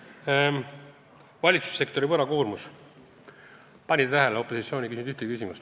Kas panite tähele, opositsioon ei küsinud ühtegi küsimust valitsussektori võlakoormuse kohta?